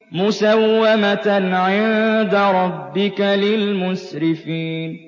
مُّسَوَّمَةً عِندَ رَبِّكَ لِلْمُسْرِفِينَ